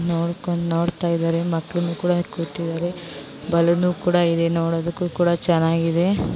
ನೋಡ್ಕೊಂಡು ನೋಡ್ತಾ ಇದ್ದರೆ ಮಕ್ಕಳು ಕೂಡ ಕೂತಿದಾರೆ ಬಲೂನ್ ಕೂಡ ಇದೆ ನೋಡದಕ್ಕೂ ಕೂಡ ಚೆನ್ನಾಗಿದೆ.